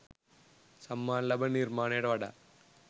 සම්මාන ලබන නිර්මාණයට වඩා